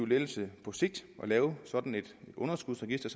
lettelse at lave sådan et underskudsregister